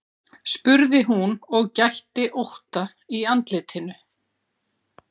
spurði hún og gætti ótta í andlitinu.